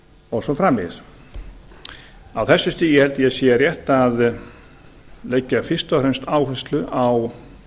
og svo framvegis á þessu stigi held ég að sé rétt að leggja fyrst og fremst áherslu á